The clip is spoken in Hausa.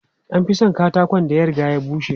An fi son katakon da ya riga ya bushe.